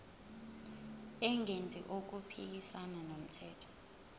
engenzi okuphikisana nomthetho